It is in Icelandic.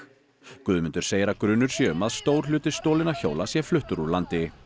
Guðmundur segir að grunur sé um að stór hluti stolinna hjóla sé fluttur úr landi